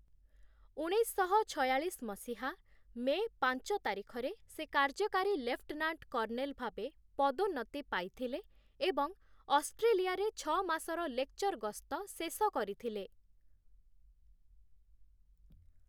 ଉଣେଇଶଶହ ଛୟାଳଳିଶ ମସିହା, ମେ ପାଞ୍ଚ ତାରିଖରେ ସେ କାର୍ଯ୍ୟକାରୀ ଲେଫ୍ଟନାଣ୍ଟ କର୍ଣ୍ଣେଲ ଭାବେ ପଦୋନ୍ନତି ପାଇଥିଲେ ଏବଂ ଅଷ୍ଟ୍ରେଲିଆରେ ଛଅ ମାସର ଲେକ୍‌ଚର୍‌ ଗସ୍ତ ଶେଷ କରିଥିଲେ ।